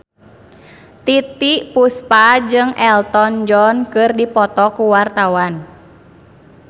Titiek Puspa jeung Elton John keur dipoto ku wartawan